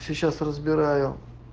сейчас разбираю